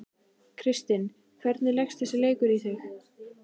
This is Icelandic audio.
Kristinn, hvernig leggst þessi leikur í þig?